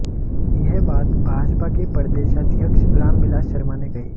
यह बात भाजपा के प्रदेशाध्यक्ष रामबिलास शर्मा ने कही